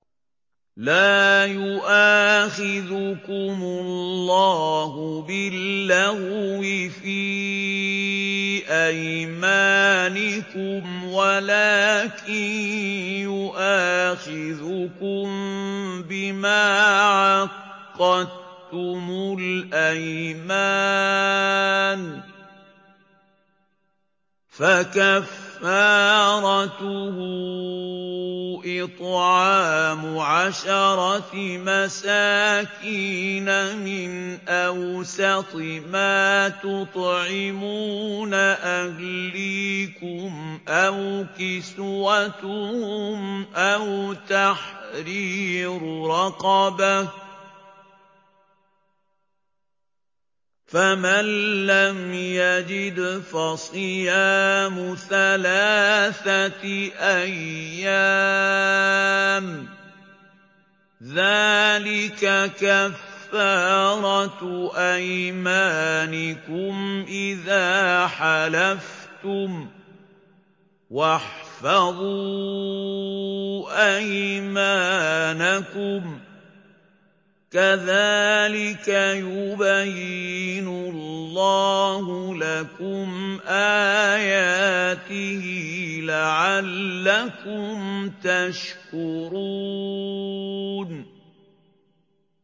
لَا يُؤَاخِذُكُمُ اللَّهُ بِاللَّغْوِ فِي أَيْمَانِكُمْ وَلَٰكِن يُؤَاخِذُكُم بِمَا عَقَّدتُّمُ الْأَيْمَانَ ۖ فَكَفَّارَتُهُ إِطْعَامُ عَشَرَةِ مَسَاكِينَ مِنْ أَوْسَطِ مَا تُطْعِمُونَ أَهْلِيكُمْ أَوْ كِسْوَتُهُمْ أَوْ تَحْرِيرُ رَقَبَةٍ ۖ فَمَن لَّمْ يَجِدْ فَصِيَامُ ثَلَاثَةِ أَيَّامٍ ۚ ذَٰلِكَ كَفَّارَةُ أَيْمَانِكُمْ إِذَا حَلَفْتُمْ ۚ وَاحْفَظُوا أَيْمَانَكُمْ ۚ كَذَٰلِكَ يُبَيِّنُ اللَّهُ لَكُمْ آيَاتِهِ لَعَلَّكُمْ تَشْكُرُونَ